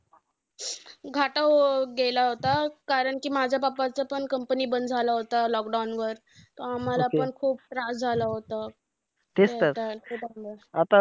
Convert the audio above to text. होत गेला होता. कारण कि माझ्या pappa चं पण company पण बंद झाला होता. lockdown वर. आम्हांला पण खूप त्रास झाला होता. नाहीतर